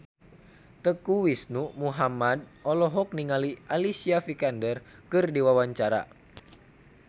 Teuku Rizky Muhammad olohok ningali Alicia Vikander keur diwawancara